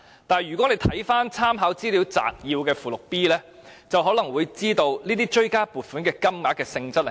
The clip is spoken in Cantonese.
但是，看回立法會參考資料摘要的附件 B， 便知道追加撥款的原因。